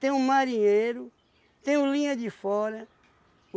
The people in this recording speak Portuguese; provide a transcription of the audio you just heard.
Tem o marinheiro, tem o linha de fora.